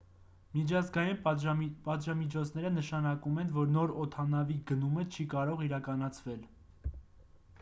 միջազգային պատժամիջոցները նշանակում են որ նոր օդանավի գնումը չի կարող իրականացվել